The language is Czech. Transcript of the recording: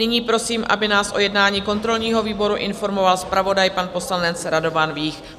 Nyní prosím, aby nás o jednání kontrolního výboru informoval zpravodaj, pan poslanec Radovan Vích.